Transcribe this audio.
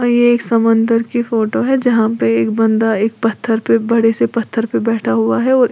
ये समंदर की फोटो है जहां पे एक बंदा एक पत्थर पे बड़े से पत्थर पे बैठा हुआ है।